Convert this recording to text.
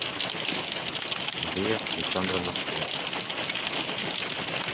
мария александровна зайцева